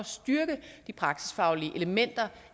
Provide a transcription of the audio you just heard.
styrke de praksisfaglige elementer